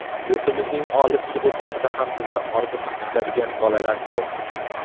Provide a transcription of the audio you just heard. Yurtimizning olis hududlarida ham bizni orziqib kutadigan bolalar ko‘p.